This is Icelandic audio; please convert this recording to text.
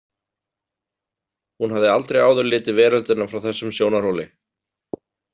Hún hafði aldrei áður litið veröldina frá þessum sjónarhóli.